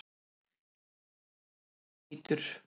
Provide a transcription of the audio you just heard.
Bíllinn er ónýtur